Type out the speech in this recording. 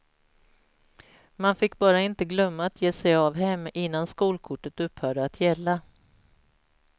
Man fick bara inte glömma att ge sig av hem innan skolkortet upphörde att gälla.